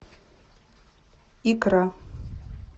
икра